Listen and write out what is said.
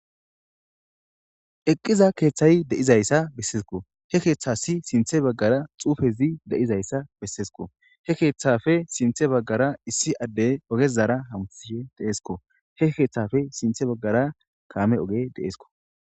eqqiza keeththayi de'izayssa besseesko he keeththasi sinthe baggara xufezi de7izayssa bessesko he keeththafe sinthe baggara issi addey ogezara hamtihe deesko he keeththafe sinthe baggara kaame oge deeesko